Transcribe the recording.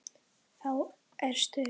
Þá er stuð.